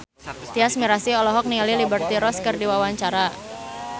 Tyas Mirasih olohok ningali Liberty Ross keur diwawancara